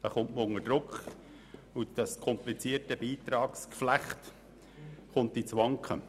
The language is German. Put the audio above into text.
Dabei kommt man unter Druck und das komplizierte Beitragsgeflecht gerät ins Wanken.